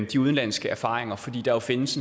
de udenlandske erfaringer for der findes